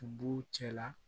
B'u cɛla